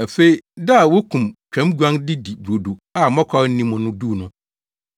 Afei, da a wokum twam guan de di brodo a mmɔkaw nni mu no duu no,